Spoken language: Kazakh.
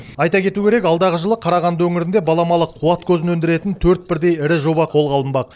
айта кету керек алдағы жылы қарағанды өңірінде баламалы қуат көзін өндіретін төрт бірдей ірі жоба қолға алынбақ